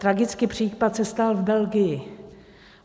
Tragický případ se stal v Belgii.